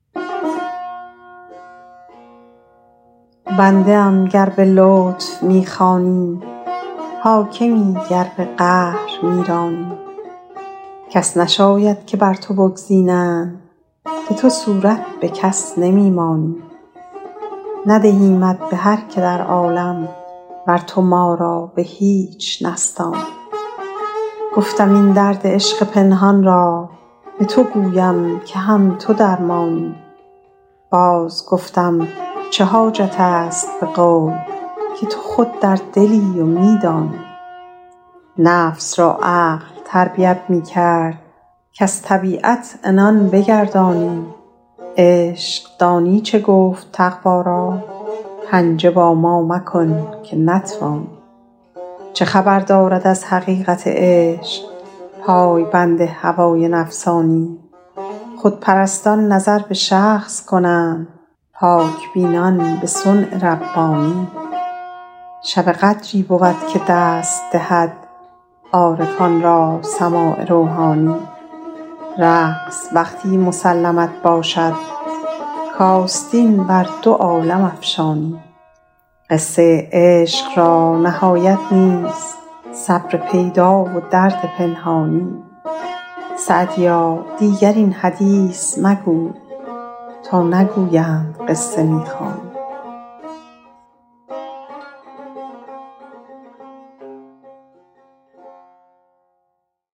بنده ام گر به لطف می خوانی حاکمی گر به قهر می رانی کس نشاید که بر تو بگزینند که تو صورت به کس نمی مانی ندهیمت به هر که در عالم ور تو ما را به هیچ نستانی گفتم این درد عشق پنهان را به تو گویم که هم تو درمانی باز گفتم چه حاجت است به قول که تو خود در دلی و می دانی نفس را عقل تربیت می کرد کز طبیعت عنان بگردانی عشق دانی چه گفت تقوا را پنجه با ما مکن که نتوانی چه خبر دارد از حقیقت عشق پای بند هوای نفسانی خودپرستان نظر به شخص کنند پاک بینان به صنع ربانی شب قدری بود که دست دهد عارفان را سماع روحانی رقص وقتی مسلمت باشد کآستین بر دو عالم افشانی قصه عشق را نهایت نیست صبر پیدا و درد پنهانی سعدیا دیگر این حدیث مگوی تا نگویند قصه می خوانی